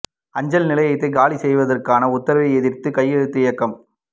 அஞ்சல் நிலையத்தை காலி செய்வதற்கான உத்தரவை எதிா்த்து கையெழுத்து இயக்கம்